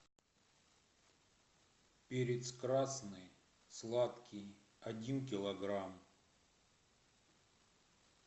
перец красный сладкий один килограмм